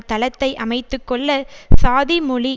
தளத்தை அமைத்து கொள்ள சாதி மொழி